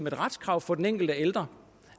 et retskrav for den enkelte ældre